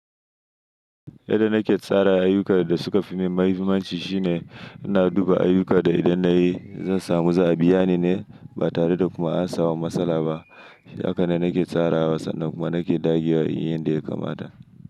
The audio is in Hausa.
Yadda nake tsara ayyukan da suka fi min mahimmanci shine ina duba ayyuka da idan na yi, zan samu za a biya ni ne ba tare da kuma an samu matsala ba. Hakanan nake tsarawa sannan kuma nake dagewa inyi yanda ya kamata.